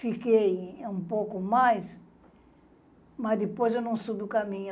Fiquei um pouco mais, mas depois eu não subi o caminho.